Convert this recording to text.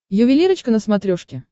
ювелирочка на смотрешке